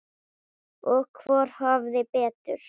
Og hvor hafði betur.